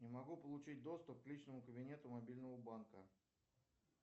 не могу получить доступ к личному кабинету мобильного банка